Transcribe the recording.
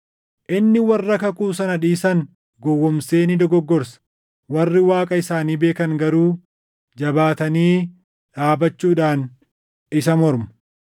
Inni warra kakuu sana dhiisan gowwoomsee ni dogoggorsa; warri Waaqa isaanii beekan garuu jabaatanii dhaabachuudhaan isa mormu.